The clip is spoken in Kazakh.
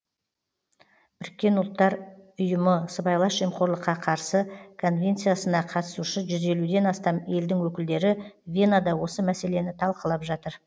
біріккен ұлттар ұйымы сыбайлас жемқорлыққа қарсы конвенциясына қатысушы жүз елуден астам елдің өкілдері венада осы мәселені талқылап жатыр